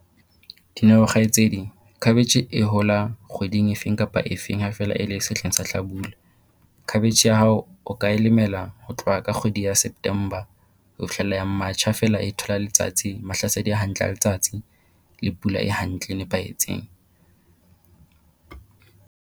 Dineo kgaitsedi khabetjhe e hola kgweding efeng kapa efeng ha feela e le sehleng sa hlabula. Cabbage ya hao o ka e lemela ho tloha ka kgwedi ya September ho fihlella ya March ha feela e thola letsatsi mahlasedi a hantle a letsatsi le pula e hantle e nepahetseng.